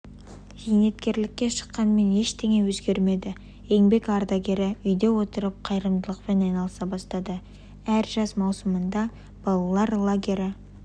зейнеткерлікке шыққанмен ештене өзгермеді еңбек ардагері үйде отырып қайырымдылықпен айналыса бастады әр жаз маусымында балалар лагерлері